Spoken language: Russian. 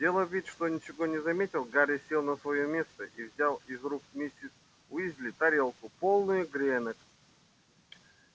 сделав вид что ничего не заметил гарри сел на своё место и взял из рук миссис уизли тарелку полную гренок